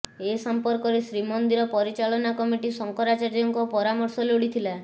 ଏ ସମ୍ପର୍କରେ ଶ୍ରୀମନ୍ଦିର ପରିଚାଳନା କମିଟି ଶଙ୍କରାଚାର୍ଯ୍ୟଙ୍କ ପରାମର୍ଶ ଲୋଡ଼ିଥିଲା